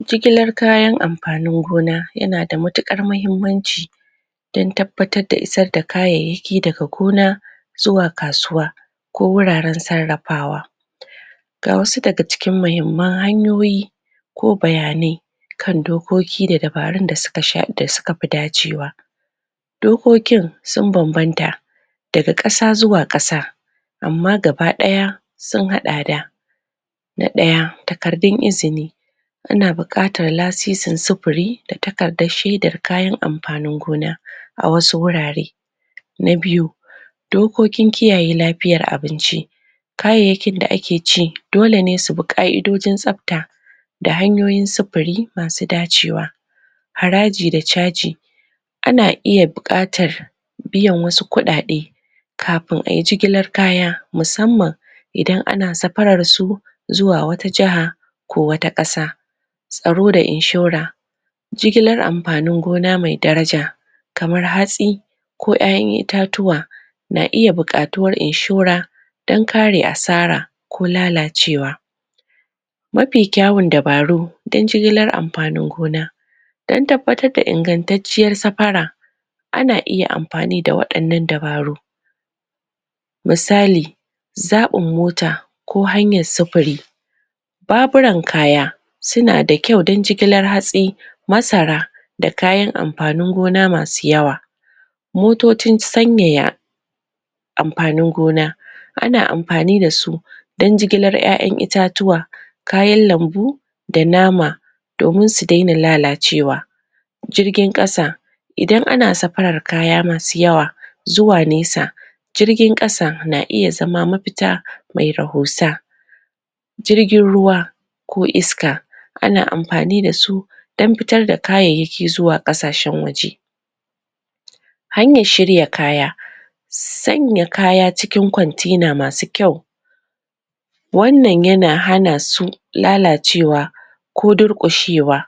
Jigilar kayan amfanin gona yana da matuƙar mahimmanci dan tabbatar da isar da kayayyaki daga gona zuwa kasuwa wuraren sarrafawa ga wasu daga cikin muhimman hanyoyi ko bayanai kan dokoki da dabarun da suka fi dacewa dokokin sun bambamta daga ƙasa zuwa ƙasa amma gaba ɗaya sun haɗa da na ɗaya takardun izini ana buƙatar lasisin sufuri da takardar shaidar kayan amfanin gona a wasu wurare na biyu dokokin kiyaye lafiyar abinci kayayyakin da ake ci dole ne su bi ƙa'idojin tsabta da hanyoyin sufuri masu dacewa haraji da caji a na iya buƙatar biyan wasu kuɗaɗe kafin a yi jigilar kaya musamman idan ana safarar su zuwa wata jaha ko wata ƙasa tsaro da inshora jigilar amfanin gona mai daraja kamar hatsi ko 'ya'yan itatuwa na iya buƙatuwar inshora dan kare asara ko lalacewa mafi kyawun dabaru dan jigilar amfanin gona dan tabbatar da ingantacciyar safara a na iya amfani da waɗannan dabaru misali zaɓin mota ko hanyar sufuri baburan kaya suna da kyau don jigilar hatsi masara da kayan amfanin gona masu yawa motocin sanyaya amfanin gona ana amfani da su don jigilar 'ya'yan itatuwa kayan lambu da nama domin su daina lalacewa jirgin ƙasa idan ana safarar kaya masu yawa zuwa nesa jirgin ƙasa na iya zama mafita mai rahusa jirgin ruwa ko iska ana amfani da su dan fitar da kayayyaki zuwa ƙasashen waje hanyar shirya kaya sanya kaya cikin container masu kyau wannan yana hana su lalacewa ko durƙushewa